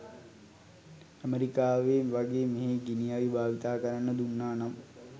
ඇමරිකාවේ වගේ මෙහේ ගිනි අවි භාවිතා කරන්න දුන්නා නම්.